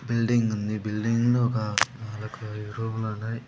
Building ఉంది. Building లో ఒక అదొక ఎరువులున్నాయ్.